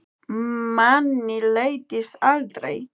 Manni leiðist aldrei.